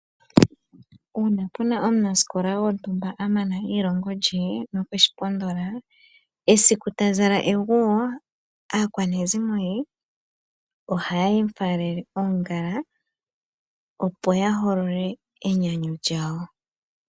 Uuna puna omunasikola gwontumba a mana eilongo lye nokweshi pondola, esiku ta zala eguwo aakwanezimo ye ohaye mu faalele oongala opo ya holole enyanyu lyawo.